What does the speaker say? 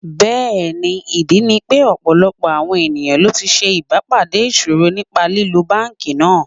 Bẹ́ẹ̀ni, ìdí ni pé ọ̀pọ̀lọpọ̀ àwọn ẹ̀yàn ló ti ṣe ìbà pàdé ìṣòro nípa lílo Báńkì náà.